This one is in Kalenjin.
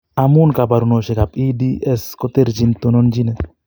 Amun kabarunoshek ab EDS koterjin, tononchinet